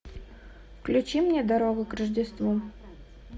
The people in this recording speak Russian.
включи мне дорога к рождеству